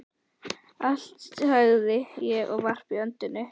Allt, sagði ég og varp öndinni.